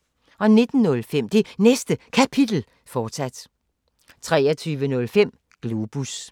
19:05: Det Næste Kapitel, fortsat 23:05: Globus